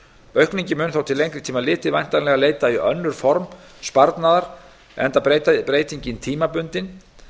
aukningin mun þó til lengri tíma litið væntanlega leita í önnur form sparnaðar enda breytingin tímabundin